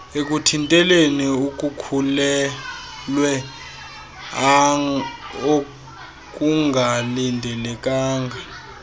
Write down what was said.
ekuthinteleni ukukhulelwea okungalindelekanga